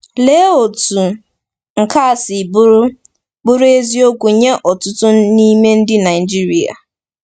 Lee otú nke a si bụrụ bụrụ eziokwu nye ọtụtụ n’ime ndị Naijiria!